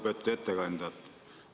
Lugupeetud ettekandja!